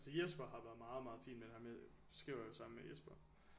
Altså Jesper har været meget meget fin med det her med nu skriver jeg jo sammen med Jesper